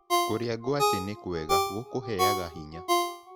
Kũrĩa ngwacĩ nĩkwega gũkũheaga hinya